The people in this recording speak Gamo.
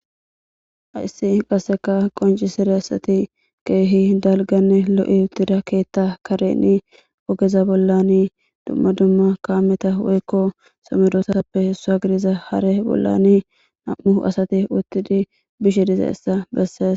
ayssi qasseka qonci sire asati keehi dalganne lo7i utida keetta kareni ogeza bollani dumma dumma kaameta woykko sommedoosappe hessu hagidiza hare bollani nam7u asati uttidi bishe diza issa besses